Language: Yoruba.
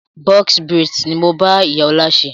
"Box braids" ni mo bá ìyá ọ̀la ṣe.